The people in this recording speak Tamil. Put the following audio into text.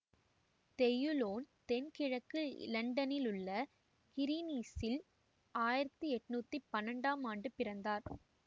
தெயுலோன் தென்கிழக்கு இலண்டனில் உள்ள கிறீனிச்சில் ஆயிரத்தி எண்ணூற்றி பன்னெண்டாம் ஆண்டு பிறந்தார்